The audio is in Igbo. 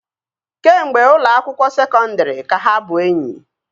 kemgbe ụlọ akwụkwọ sekondri ka ha bụ enyi